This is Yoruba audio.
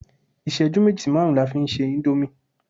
iṣẹju meji sí marun la fi n se Indomie